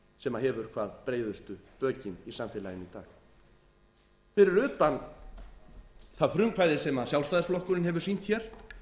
sem hefur hvað breiðustu bökin í samfélaginu í dag fyrir utan það frumkvæði sem sjálfstæðisflokkurinn hefur sýnt hér